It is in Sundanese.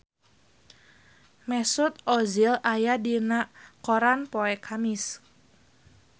Mesut Ozil aya dina koran poe Kemis